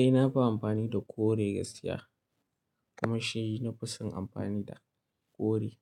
Eh, na fi amfani da kore gaskiya. Kuma shi na fi son amfani da kore.